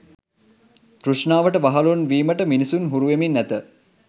තෘෂ්ණාවට වහලුන් වීමට මිනිසුන් හුරුවෙමින් ඇත.